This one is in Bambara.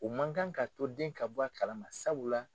U man kan ka to den ka bɔ a kalama sabula